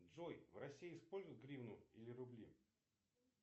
джой в россии используют гривны или рубли